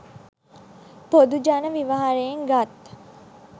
පොදු ජන ව්‍යවහාරයෙන් ගත්